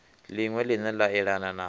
liṅwe line la elana na